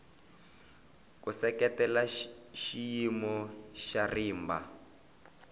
ku seketela xiyimo xa rimba